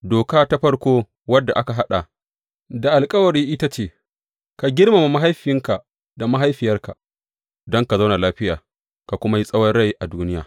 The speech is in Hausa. Doka ta farko wadda aka haɗa da alkawari ita ce, Ka girmama mahaifinka da mahaifiyarka, don ka zauna lafiya, ka kuma yi tsawon rai a duniya.